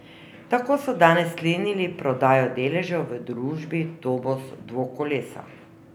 Tako so danes sklenili prodajo deležev v družbi Tomos Dvokolesa.